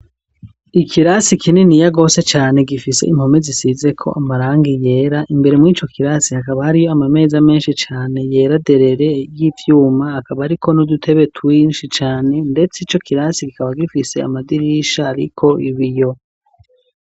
Ikirasi kininiya gose cane gifise impome zisizeko amarangi yera, imbere muri ico kirasi hakaba hariyo ama meza menshi cane yera derere y'ivyuma, hakaba hariko n'udutebe twinshi cane, ndetse ico kirasi kikaba gifise amadirisha ariko ibiyo.